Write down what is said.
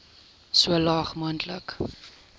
so laag moontlik